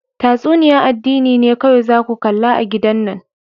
Tatsuniya'n addini ne kowai za ku kalla a'gidan nan.